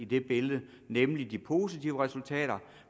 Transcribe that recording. det billede nemlig de positive resultater